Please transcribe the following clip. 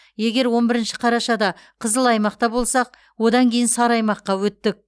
егер он бірінші қарашада қызыл аймақта болсақ одан кейін сары аймаққа өттік